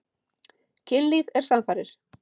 Kynlíf er samfarir.